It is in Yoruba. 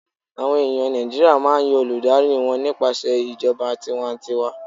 àwọn eyan Naijiria ma n Yan Olùdarí wan nípasẹ ìjọba tiwantiwa n